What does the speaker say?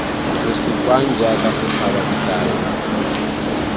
re supang jaaka sethaba dikai